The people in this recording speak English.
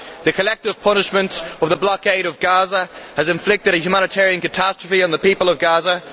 The collective punishment of the blockade of Gaza has inflicted a humanitarian catastrophe on the people of Gaza.